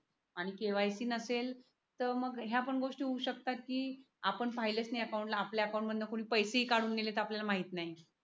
आणि KYC नसेल तर मग ह्या पण गोष्टी होऊ शकतात की आपण पाहिलेच नाही अकाउंट आपल्या अकाउंट मध्ये पैसे काढून दिलेत आपल्याला माहित नाही